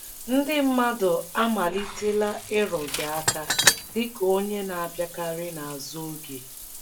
Ndị mmadụ àamalitela ịrụ gị aka dị ka onye na - abịakarị n’azụ oge?